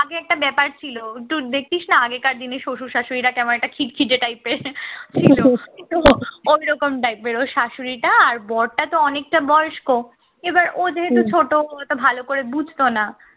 আগে একটা ব্যাপার ছিল একটু দেখতিস না আগেকার দিনে শ্বশুর-শাশুড়ি রা কেমন একটা খিটখেটে type এর ছিল কিন্তু ওরকম type এর ওর শাশুড়ি টা আর বরটা তো অনেকটা বয়স্ক এবার ও যেহেতু ছোট অত ভালো করে বুঝতো না